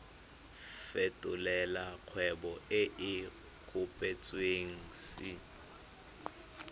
fetolela kgwebo e e kopetswengcc